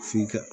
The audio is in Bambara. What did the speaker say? Fin kɛ